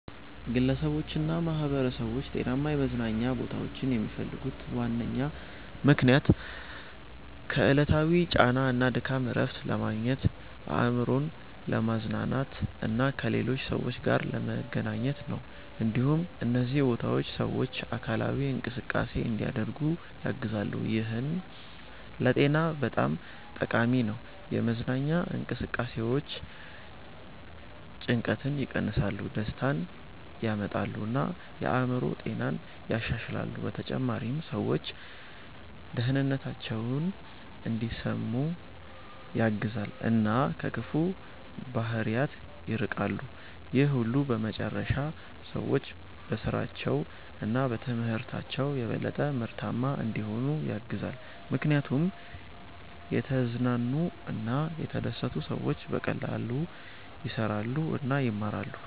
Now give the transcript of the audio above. ግለሰቦችና ማኅበረሰቦች ጤናማ የመዝናኛ ቦታዎችን የሚፈልጉት ዋነኛ ምክንያት ከዕለታዊ ጫና እና ድካም እረፍት ለማግኘት፣ አእምሮን ለማዝናናት እና ከሌሎች ሰዎች ጋር ለመገናኘት ነው። እንዲሁም እነዚህ ቦታዎች ሰዎች አካላዊ እንቅስቃሴ እንዲያደርጉ ያግዛሉ፣ ይህም ለጤና በጣም ጠቃሚ ነው። የመዝናኛ እንቅስቃሴዎች ጭንቀትን ይቀንሳሉ፣ ደስታን ያመጣሉ እና የአእምሮ ጤናን ያሻሽላሉ። በተጨማሪም ሰዎች ደህንነታቸውን እንዲሰሙ ያግዛሉ እና ከክፉ ባህሪያት ይርቃሉ። ይህ ሁሉ በመጨረሻ ሰዎች በስራቸው እና በትምህርታቸው የበለጠ ምርታማ እንዲሆኑ ያግዛል፣ ምክንያቱም የተዝናኑ እና የተደሰቱ ሰዎች በቀላሉ ይሰራሉ እና ይማራሉ።